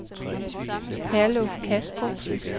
Herluf Kastrup